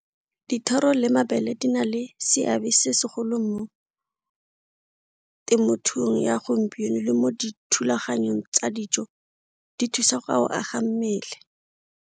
Dithoro le mabele di na le seabe se segolo mo temothuong ya gompieno le mo dithulaganyong tsa dijo, di thusa go aga mmele.